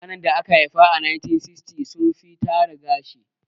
Mutanen da aka haifa a 1960s sun fi tara gashi